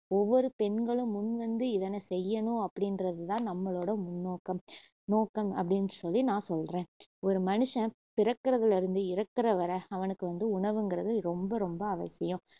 ஒவ்வொரு பெண்களும் முன்வந்து இதனை செய்யணும் அப்படின்றது தான் நம்மளோட முன்னோக்கம் நோக்கம் அப்படின்னு சொல்லி நான் சொல்றேன் ஒரு மனுஷன் பிறக்குறதுல இருந்து இறக்குற வரைர அவனுக்கு வந்து உணவுங்குறது ரொம்ப ரொம்ப அவசியம்